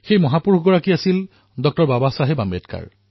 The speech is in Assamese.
এই মহাপুৰুষ আছিল পুজনীয় ডঃ বাবা চাহেব আম্বেদকাৰ